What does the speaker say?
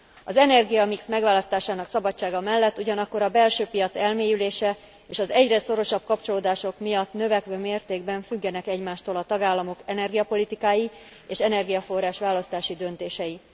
Az energiamix megválasztásának szabadsága mellett ugyanakkor a belső piac elmélyülése és az egyre szorosabb kapcsolódások miatt növekvő mértékben függenek egymástól a tagállamok energiapolitikái és energiaforrás választási döntései.